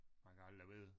Man kan aldrig vide